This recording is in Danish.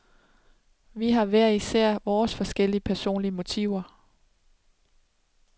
Vi har hver især vores forskellige personlige motiver.